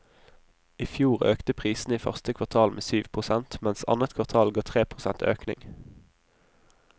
I fjor økte prisene i første kvartal med syv prosent, mens annet kvartal ga tre prosent økning.